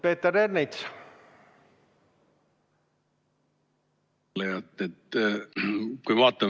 Peeter Ernits!